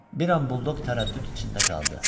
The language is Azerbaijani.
Bir an buldoq tərəddüd içində qaldı.